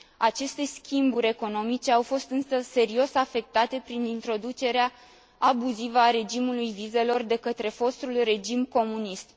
Aceste schimburi economice au fost însă serios afectate prin introducerea abuzivă a regimului vizelor de către fostul regim comunist.